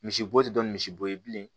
Misibo tɛ dɔn ni misibo ye bilen